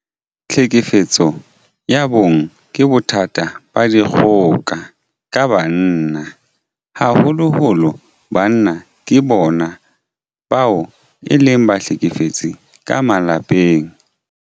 Tlhekefetso ya bong ke bothata ba dikgoka ka banna. Haholoholo banna ke bona bao e leng bahlekefetsi ka malapeng.